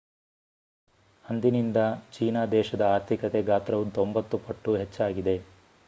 ಅಂದಿನಿಂದ ಚೀನಾ ದೇಶದ ಆರ್ಥಿಕತೆ ಗಾತ್ರವು 90 ಪಟ್ಟು ಹೆಚ್ಚಾಗಿದೆ